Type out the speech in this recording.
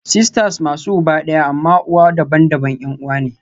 Sisters masu uba ɗaya amma uwa daban-daban 'yan uwa ne